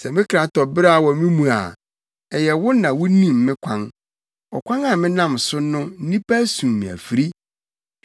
Sɛ me kra tɔ beraw wɔ me mu a, ɛyɛ wo na wunim me kwan. Ɔkwan a menam so no nnipa asum me afiri.